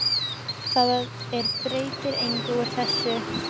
Það er breytir engu úr þessu.